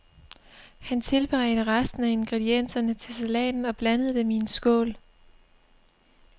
Han tilberedte resten af ingredienserne til salaten og blandede dem i en skål.